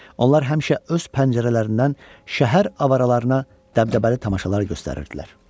Onlar həmişə öz pəncərələrindən şəhər avaralarına dəbdəbəli tamaşalar göstərirdilər.